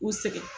U sɛgɛn